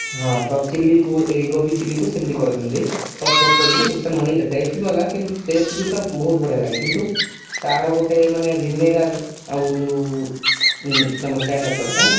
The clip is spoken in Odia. ହଁ ତ chili କୁ ଗୋବୀ chilli କୁ ସେମିତି କରନ୍ତି sauce ଫସ ପକେଇକି ଅମିତି ସେମିତି taste ବି ଅଲଗା କିନ୍ତୁ taste ବି ବହୁତ ବଢିୟା ଲାଗେ କିନ୍ତୁ ତାର ଗୋଟେ ମାନେ vinegar ଆଉ ଯଉ ଆମର china salt ପାଇଁ